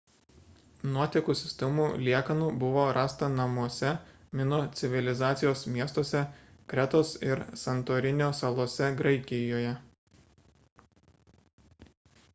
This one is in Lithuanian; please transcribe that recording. nuotekų sistemų liekanų buvo rasta namuose mino civilizacijos miestuose kretos ir santorinio salose graikijoje